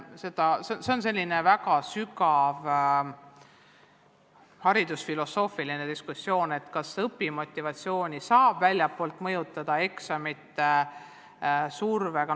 Sellest tuleks väga sügav haridusfilosoofiline diskussioon, et kas õpimotivatsiooni saab väljastpoolt eksamite survega mõjutada.